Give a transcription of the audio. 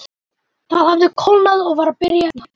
Það hafði kólnað og var byrjað að rigna.